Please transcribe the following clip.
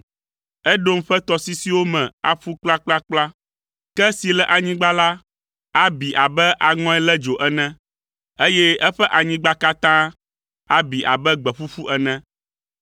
Edom ƒe tɔsisiwo me aƒu kplakplakpla. Ke si le anyigba la abi abe aŋɔe lé dzo ene, eye eƒe anyigba katã abi abe gbe ƒuƒu ene.